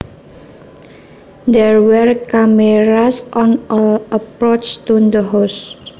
There were cameras on all approaches to the house